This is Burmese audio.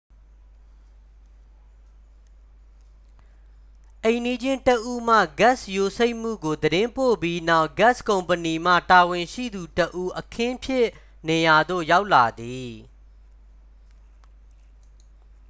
အိမ်နီးချင်းတစ်ဦးမှ ဂက်စ်ယိုစိမ့်မှုကို သတင်းပို့ပြီးနောက် ဂက်စ်ကုမ္ပဏီမှ တာဝန်ရှိသူတစ်ဦး အခင်းဖြစ်နေရာသို့ ရောက်လာသည်